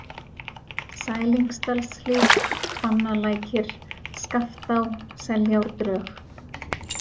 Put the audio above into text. Sælingsdalshlíð, Hvannalækir, Skaftá, Seljárdrög